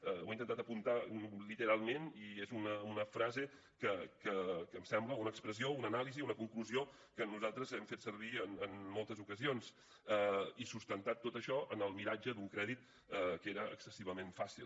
ho he intentat apuntar literalment i és una frase que em sembla una expressió una anàlisi una conclusió que nosaltres hem fet servir en moltes ocasions i sustentat tot això en el miratge d’un crèdit que era excessivament fàcil